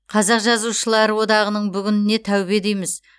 қазақ жазушыларылар одағының бүгініне тәубе дейміз